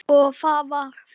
Og það var þess virði.